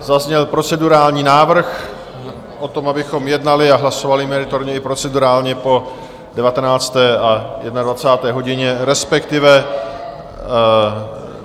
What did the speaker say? Zazněl procedurální návrh o tom, abychom jednali a hlasovali meritorně i procedurálně po 19. a 21. hodině, respektive...